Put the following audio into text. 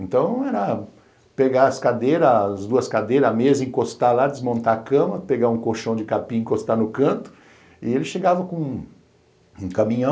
Então era pegar as cadeiras, as duas cadeiras, a mesa, encostar lá, desmontar a cama, pegar um colchão de capim, encostar no canto e ele chegava com um caminhão.